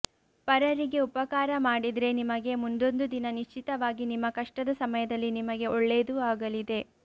ಪರರಿಗೆ ಉಪಕಾರ ಮಾಡಿದ್ರೆ ನಿಮಗೆ ಮುಂದೊಂದು ದಿನ ನಿಶ್ಚಿತವಾಗಿ ನಿಮ್ಮ ಕಷ್ಟದ ಸಮಯದಲ್ಲಿ ನಿಮಗೆ ಒಳ್ಳೇದು ಆಗಲಿದೆ